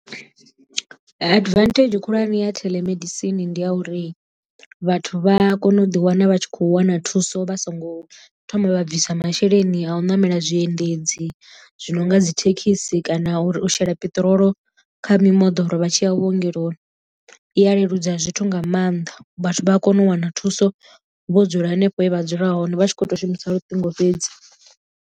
Advantage khulwane ya theḽemedisini ndi ya uri vhathu vha a kona u ḓi wana vha tshi kho wana thuso vha so ngo thoma vha bvisa masheleni a u ṋamela zwiendedzi zwi no nga dzi thekhisi thekhisi kana uri u shela peṱirolo kha mimoḓoro vha tshi ya vhuongeloni, i ya leludza zwithu nga maanḓa vhathu vha a kona u wana thuso vho dzula hanefho he vha dzula hone vha tshi kho to shumisa luṱingo fhedzi.